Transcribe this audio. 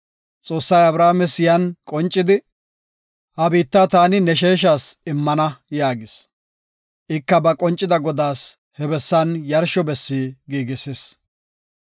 Xoossay Abrames yan qoncidi, “Ha biitta taani ne sheeshas immana” yaagis. Ika ba qoncida Godaas he bessan yarsho bessi giigisis.